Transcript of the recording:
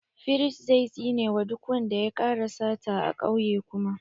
Firist zai tsine wa duk wanda ya ƙara sata a kauye kuma.